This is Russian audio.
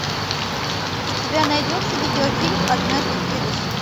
у тебя найдется видеофильм однажды в вегасе